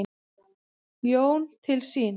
Jón til sín.